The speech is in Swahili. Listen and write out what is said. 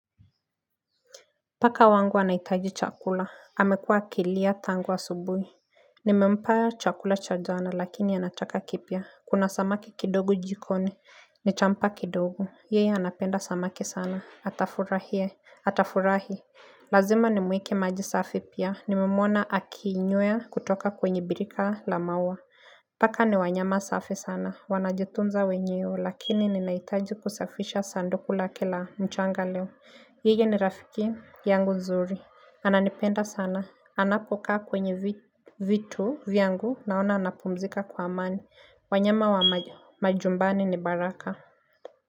Paka wangu anahitaji chakula. Amekua akilia tangu asubuhi. Nimempa chakula cha jana lakini anataka kipya. Kuna samaki kidogo jikoni. Nitampa kidogo. Yeye anapenda samaki sana. Atafurahie. Atafurahi. Lazima nimuike maji safi pia. Nimemwona akiinywea kutoka kwenye birika la maua. Paka ni wanyama safi sana. Wanajitunza wenyewe lakini ninahitaji kusafisha sanduku lake la mchanga leo. Ile ni rafiki yangu nzuri. Ananipenda sana. Anapokaa kwenye vitu vyangu naona anapumzika kwa amani. Wanyama wa majumbani ni baraka.